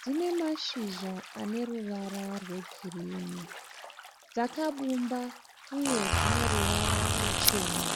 Dzinemashizha aneruvara rwegirinhi. Dzakabumba uye dzineruvara ruchena.